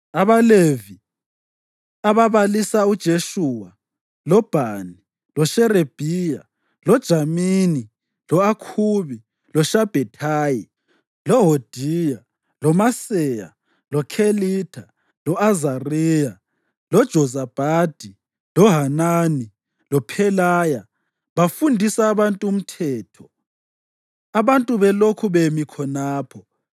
AbaLevi ababalisa uJeshuwa, loBhani, loSherebhiya, loJamini, lo-Akhubi, loShabhethayi, loHodiya, loMaseya, loKhelitha, lo-Azariya, loJozabhadi, loHanani loPhelaya bafundisa abantu uMthetho abantu belokhu bemi khonapho.